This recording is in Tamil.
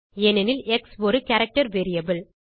ஏனெனில் எக்ஸ் ஒரு கேரக்டர் வேரியபிள்